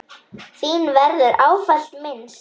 Þín verður ávallt minnst.